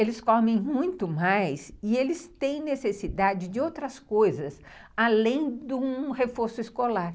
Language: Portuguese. Eles comem muito mais e eles têm necessidade de outras coisas além de um reforço escolar.